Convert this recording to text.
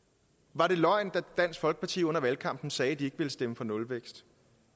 var det løgn da dansk folkeparti under valgkampen sagde at de ikke ville stemme for nulvækst